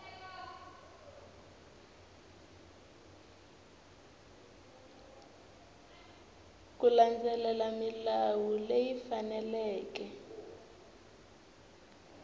ku landzelela milawu leyi faneleke